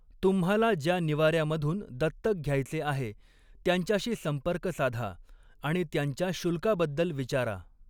तुम्हाला ज्या निवाऱ्यामधून दत्तक घ्यायचे आहे त्यांच्याशी संपर्क साधा आणि त्यांच्या शुल्काबद्दल विचारा.